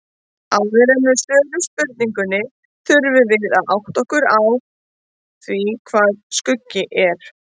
Áður en við svörum spurningunni þurfum við að átta okkur á því hvað skuggi er.